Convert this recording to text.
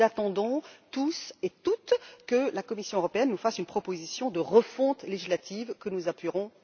Nous attendons, toutes et tous, que la Commission européenne nous fasse une proposition de refonte législative, que nous appuierons.